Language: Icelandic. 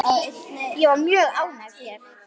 Ég er mjög ánægð hér.